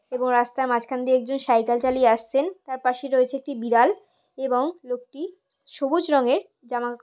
এবং রাস্তার মাঝখান দিয়ে একজন সাইকেল চালিয়ে আসছেন। তার পাশে রয়েছে একটি বিড়াল এবং লোকটি সবুজ রঙের জামা --